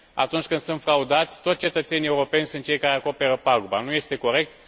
Atunci când sunt fraudați, tot cetățenii europeni sunt cei care acoperă paguba. Nu este corect.